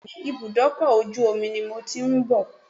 Bẹ́ẹ̀ni, ibùdókọ̀ ojú omi ni mo ti ń bọ̀.